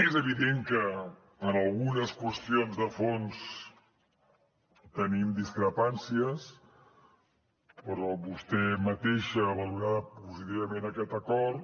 és evident que en algunes qüestions de fons tenim discrepàncies però vostè mateixa ha valorat positivament aquest acord